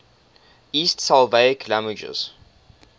east slavic languages